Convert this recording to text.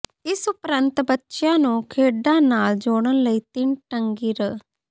ਇਸ ਉਪਰੰਤ ਬੱਚਿਆਂ ਨੂੰ ਖੇਡਾਂ ਨਾਲ ਜੋੜਨ ਲਈ ਤਿੰਨ ਟੰਗੀ ਰ